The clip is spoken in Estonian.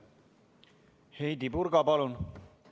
Heidy Purga, palun!